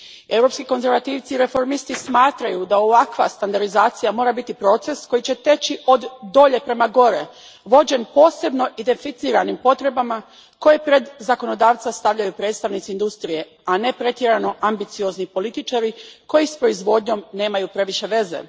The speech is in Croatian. Europski konzervativci i reformisti smatraju da ovakva standardizacija mora biti proces koji će teći od dolje prema gore, vođen posebno identificiranim potrebama koje pred zakonodavca stavljaju predstavnici industrije, a ne pretjerano ambiciozni političari koji s proizvodnjom nemaju previše veze.